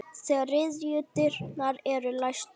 Þriðju dyrnar eru læstar.